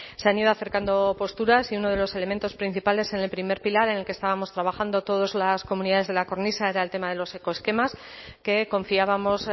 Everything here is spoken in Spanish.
se han ido acercando posturas y uno de los elementos principales en el primer pilar en el que estábamos trabajando todas las comunidades de la cornisa era el tema de los ecoesquemas que confiábamos